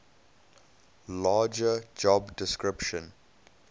larger job description